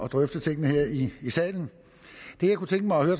drøfte tingene her i salen det jeg kunne tænke mig at høre